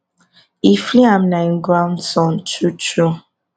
if liam na im grandson true true